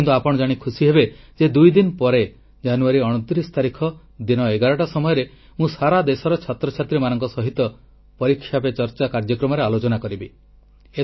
କିନ୍ତୁ ଆପଣ ଜାଣି ଖୁସି ହେବେ ଯେ ଦୁଇ ଦିନ ପରେ ଜାନୁୟାରୀ 29 ତାରିଖ ଦିନ 11ଟା ସମୟରେ ମୁଁ ସାରା ଦେଶର ଛାତ୍ରଛାତ୍ରୀମାନଙ୍କ ସହିତ ପରୀକ୍ଷା ପେ ଚର୍ଚ୍ଚା କାର୍ଯ୍ୟକ୍ରମରେ ଆଲୋଚନା କରିବି